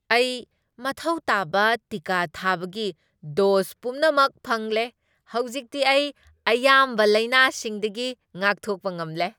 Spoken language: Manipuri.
ꯑꯩ ꯃꯊꯧ ꯇꯥꯕ ꯇꯤꯀꯥ ꯊꯥꯕꯒꯤ ꯗꯣꯁ ꯄꯨꯝꯅꯃꯛ ꯐꯪꯂꯦ꯫ ꯍꯧꯖꯤꯛꯇꯤ ꯑꯩ ꯑꯌꯥꯝꯕ ꯂꯥꯏꯅꯥꯁꯤꯡꯗꯒꯤ ꯉꯥꯛꯊꯣꯛꯄ ꯉꯝꯂꯦ꯫